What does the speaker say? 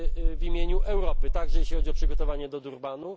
pracował w imieniu Europy, także jeżeli chodzi o przygotowanie do Durbanu.